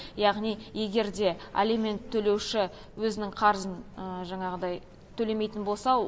яғни егер де алимент төлеуші өзінің қарызын жаңағыдай төлемейтін болса